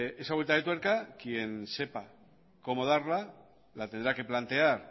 esa vuelta de tuerca quien sepa cómo darla la tendrá que plantear